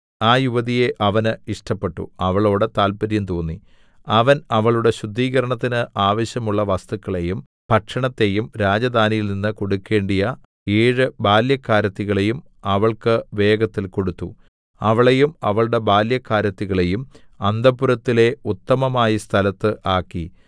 ആ യുവതിയെ അവന് ഇഷ്ടപ്പെട്ടു അവളോടു താൽപര്യം തോന്നി അവൻ അവളുടെ ശുദ്ധീകരണത്തിന് ആവശ്യമുള്ള വസ്തുക്കളെയും ഭക്ഷണത്തെയും രാജധാനിയിൽനിന്നു കൊടുക്കണ്ടിയ ഏഴ് ബാല്യക്കാരത്തികളെയും അവൾക്ക് വേഗത്തിൽ കൊടുത്തു അവളെയും അവളുടെ ബാല്യക്കാരത്തികളെയും അന്തഃപുരത്തിലെ ഉത്തമമായ സ്ഥലത്ത് ആക്കി